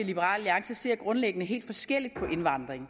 liberal alliance ser grundlæggende helt forskelligt på indvandring